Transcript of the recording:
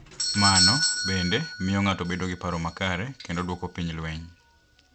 Mano, bende, miyo ng’ato bedo gi paro makare, kendo dwoko piny lweny,